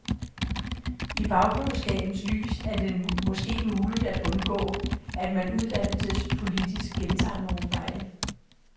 I bagklogskabens lys er det måske muligt at undgå, at man uddannelsespolitisk gentager nogle fejl.